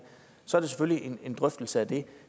så er det selvfølgelig en drøftelse af det